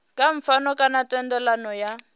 kha pfano kana thendelano ya